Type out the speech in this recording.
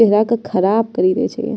चेहरा के खराब करी देय छैये।